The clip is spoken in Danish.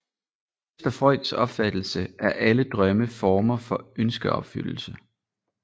Efter Freuds opfattelse er alle drømme former for ønskeopfyldelse